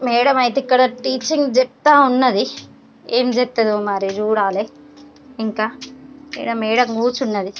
Madam అయితే ఇక్కడ teaching చెప్తా ఉన్నది ఏం చెప్తుందో మరి చూడాలి ఇంకా మేడం కూర్చుని ఉంది.